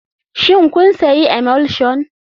Shin kun sayi emulsion.